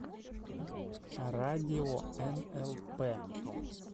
радио нлп